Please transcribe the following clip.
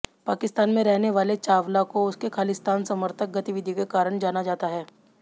पाकिस्तान में रहने वाले चावला को उसके खालिस्तान समर्थक गतिविधियों के कारण जाना जाता है